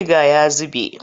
Buniga ya zube.